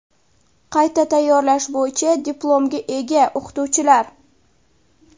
qayta tayyorlash bo‘yicha diplomga ega o‘qituvchilar;.